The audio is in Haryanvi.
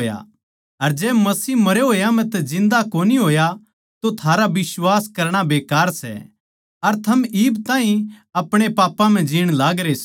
अर जै मसीह मरया होया म्ह तै जिन्दा कोनी होया तो थारा बिश्वास करणा बेकार सै अर थम इब ताहीं अपणे पापां म्ह जीण लागरे सो